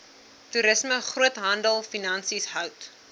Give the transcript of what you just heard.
toerisme groothandelfinansies hout